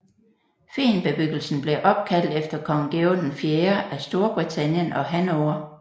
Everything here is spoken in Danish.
Fehnbebyggelsen blev opkaldt efter Kong Georg IV af Storbritannien og Hannover